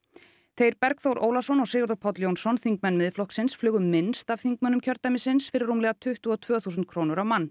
þeir Bergþór Ólason og Sigurður Páll Jónsson þingmenn Miðflokksins flugu minnst af þingmönnum kjördæmisins fyrir rúmlega tuttugu og tvö þúsund krónur á mann